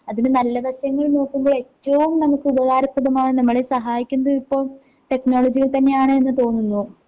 അതിന് നല്ല വശങ്ങൾ നോക്കുമ്പോ ഏറ്റവും നമുക്ക് ഉപകാരപ്രദമാകുന്ന നമ്മളെ സഹായിക്കുന്നത് ഇപ്പൊ ടെക്നോളജിയിൽ തന്നെയാണ് എന്ന് തോന്നുന്നു.